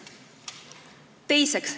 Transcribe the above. Teiseks.